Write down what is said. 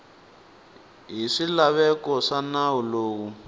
hi swilaveko swa nawu lowu